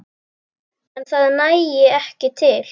En það nægi ekki til.